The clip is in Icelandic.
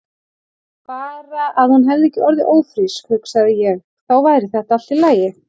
Bara að hún hefði ekki orðið ófrísk, hugsaði ég, þá væri þetta allt í lagi.